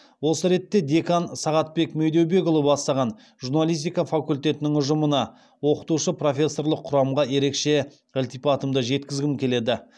осы ретте декан сағатбек медеубекұлы бастаған журналистика факультетінің ұжымына оқытушы профессорлық құрамға ерекше ілтипатымды жеткізгім келеді